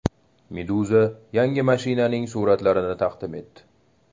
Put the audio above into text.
Meduza yangi mashinaning suratlarini taqdim etdi .